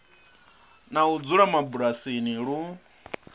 na u dzula mabulasini lu